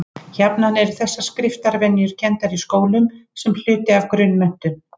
Jafnan eru þessar skriftarvenjur kenndar í skólum sem hluti af grunnmenntun.